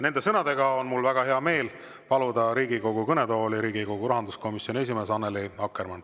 Nende sõnadega on mul väga hea meel paluda Riigikogu kõnetooli Riigikogu rahanduskomisjoni esimees Annely Akkermann.